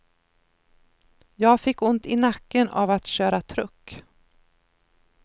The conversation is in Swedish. Jag fick ont i nacken av att köra truck.